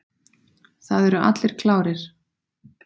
Það eru allir klárir.